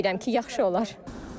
Ümid edirəm ki, yaxşı olar.